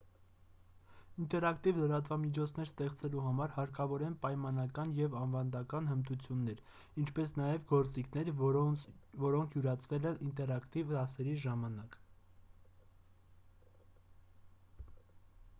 ինտերակտիվ լրատվամիջոցներ ստեղծելու համար հարկավոր են պայմանական և ավանդական հմտություններ ինչպես նաև գործիքներ որոնք յուրացվել են ինտերակտիվ դասերի ժամանակ պատկերապատում ձայնա և տեսագրությունների խմբագրում պատմությունների պատմում և այլն: